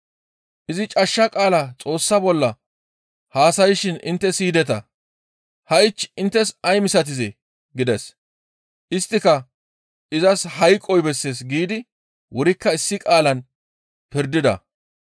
Izi cashsha qaala Xoossa bolla haasayshin intte siyideta; ha7ich inttes ay misatizee?» gides. Isttika, «Izas hayqoy bessees» giidi wurikka issi qaalan pirdida.